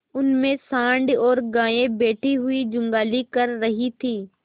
उनमें सॉँड़ और गायें बैठी हुई जुगाली कर रही थी